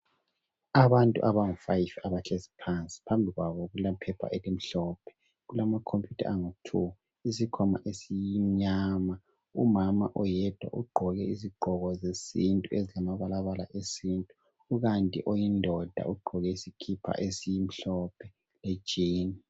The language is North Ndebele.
Abantu abangu fayifi abahlezi phansi .Phambi kwabo kulephepha elimhlophe kulamakhomputa angu thu isikhwama esimnyama ,mama oyedwa ugqoke izigqoko zesintu ezilamabalabala esintu ubambe oyindoda ogqoke isikipa esimhlophe lejini .